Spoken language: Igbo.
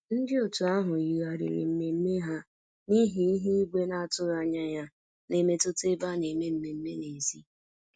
Ndị otu ahụ yigharịrị mmemme ha n'ihi ihu igwe na-atụghị anya ya na-emetụta ebe a na-eme mmemme n'èzí